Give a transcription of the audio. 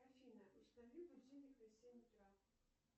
афина установи будильник на семь утра